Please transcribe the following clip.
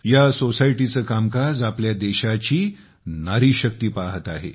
या सोसायटीचे कामकाज आपल्या देशाची नारीशक्ती पाहत आहे